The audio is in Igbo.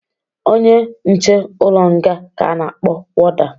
Onye nche ụlọ nga ka a na-akpọ woda